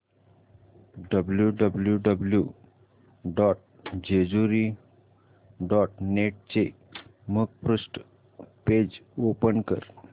W W W dot Jejuri dot net चे मुखपृष्ठ page open कर